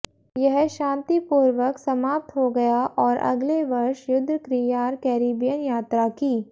यह शांतिपूर्वक समाप्त हो गया और अगले वर्ष युद्धक्रियार कैरिबियन यात्रा की